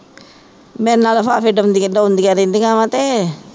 ਮੇਰੇ ਨਾਲ ਉਡਾਉਂਦੀਆਂ ਉਡਾਉਂਦੀਆਂ ਰਹਿੰਦੀਆਂ ਵਾਂ ਤੇ